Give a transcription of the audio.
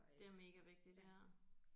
Det er mega vigtigt ja